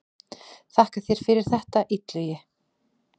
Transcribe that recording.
Þakka þér fyrir þetta Illugi.